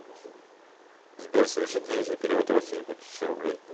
сбер соверши денежный перевод родственнику тысячу рублей